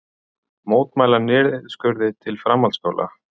Mótmæla niðurskurði til framhaldsskóla